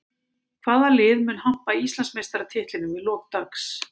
Hvaða lið mun hampa Íslandsmeistaratitlinum í lok dags?